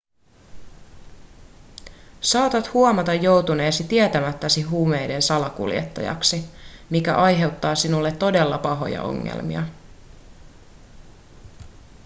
saatat huomata joutuneesi tietämättäsi huumeiden salakuljettajaksi mikä aiheuttaa sinulle todella pahoja ongelmia